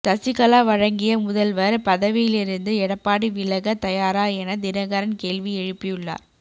சசிகலா வழங்கிய முதல்வர் பதவியிலிருந்து எடப்பாடி விலக தயாரா என தினகரன்கேள்வி எழுப்பியுள்ளார்